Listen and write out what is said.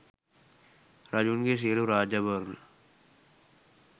රජුන්ගේ සියළු රාජාභරණ